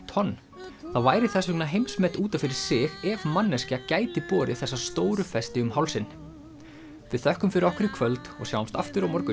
tonn það væri þess vegna heimsmet út af fyrir sig ef manneskja gæti borið þessa stóru festi um hálsinn við þökkum fyrir okkur í kvöld og sjáumst aftur á morgun